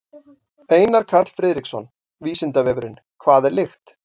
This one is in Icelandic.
Einar Karl Friðriksson: Vísindavefurinn: Hvað er lykt?